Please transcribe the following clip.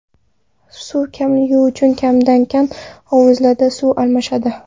Suv kamligi uchun kamdan-kam hovuzlarda suv almashadi.